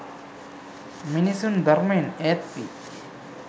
මිනිසුන් ධර්මයෙන් ඈත්වී